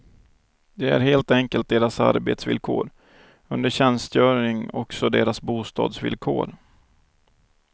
Det är helt enkelt deras arbetsvillkor, under tjänstgöring också deras bostadsvillkor.